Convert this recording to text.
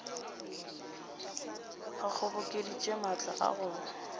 a kgobokeditše maatla a go